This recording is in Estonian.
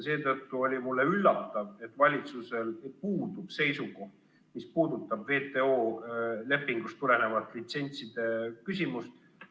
Seetõttu oli mulle üllatav, et valitsusel puudub seisukoht, mis puudutab WTO lepingust tulenevat litsentside küsimust.